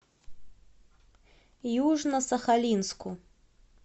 южно сахалинску